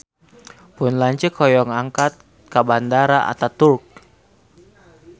Pun lanceuk hoyong angkat ka Bandara Ataturk